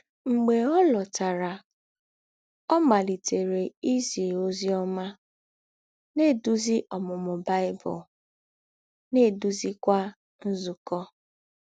Mḡbè ọ̀ lọ̀tàrà, ọ̀ màlítèrè ízì òzì ọ́má, na - èdúzì Ǒmūmū Bible, na - èdúzìkwà nzúkọ̄.